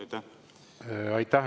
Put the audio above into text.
Aitäh!